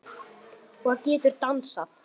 Og getur dansað.